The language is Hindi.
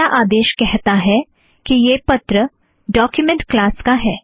पहला आदेश कहता है कि यह पत्र डोक्युमेंट क्लास का है